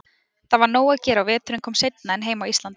Það var nóg að gera og veturinn kom seinna en heima á Íslandi.